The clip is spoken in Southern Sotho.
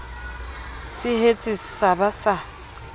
se hetse sa ba sa